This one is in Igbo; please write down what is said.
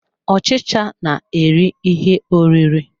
Ọchicha na-eri ihe oriri.